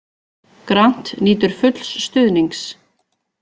Grant nýtur fulls stuðnings